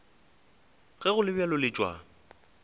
ge go le bjalo letšwa